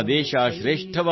ಅಪನಾ ದೇಶ್ ಮಹಾನ್ ಹೈ